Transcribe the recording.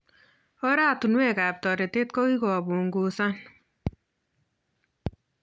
Oratunwekab toretet kokikopnguzan